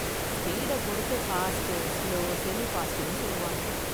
ஸ்பீட பொருத்து fast, slow, semi ஃபாஸ்ட்னு சொல்லுவாங்க.